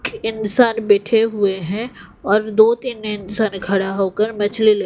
इंसान बैठे हुए हैं और दो तीन में इंसान खड़ा हो कर मछली ले--